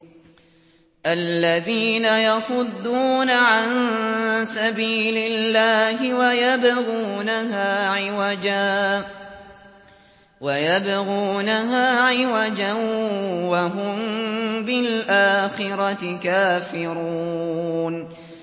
الَّذِينَ يَصُدُّونَ عَن سَبِيلِ اللَّهِ وَيَبْغُونَهَا عِوَجًا وَهُم بِالْآخِرَةِ كَافِرُونَ